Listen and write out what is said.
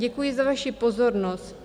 Děkuji za vaši pozornost.